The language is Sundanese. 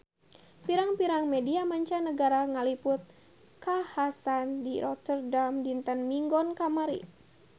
Pirang-pirang media mancanagara ngaliput kakhasan di Rotterdam dinten Minggon kamari